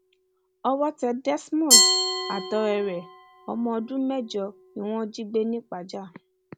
owó tẹ desmond àtọrẹ ẹ ọmọ ọdún mẹjọ ni wọn jí gbé ni pajà